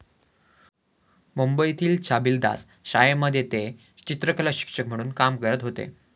मुंबईतील छबिलदास शाळेमध्ये ते चित्रकलाशिक्षक म्हणून काम करत होते.